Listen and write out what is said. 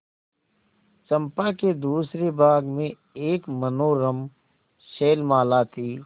चंपा के दूसरे भाग में एक मनोरम शैलमाला थी